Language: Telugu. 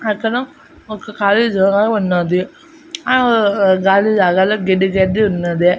అక్కడ ఒక కాలి జాగా ఉన్నది ఆ కాలి జాగాలో గడ్డి గడ్డి ఉన్నది.